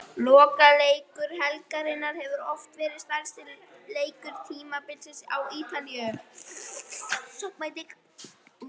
Lokaleikur helgarinnar hefur oft verið stærsti leikur tímabilsins á Ítalíu.